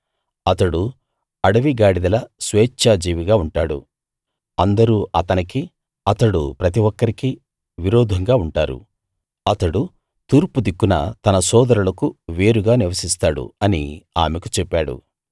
అతడు అడవి గాడిదలా స్వేచ్ఛాజీవిగా ఉంటాడు అందరూ అతనికి విరోధంగా ఉంటారు అతడు ప్రతి ఒక్కరికీ తూర్పు దిక్కున నివసిస్తాడు అతడు తన సోదరులకు వేరుగా నివసిస్తాడు అని ఆమెకు చెప్పాడు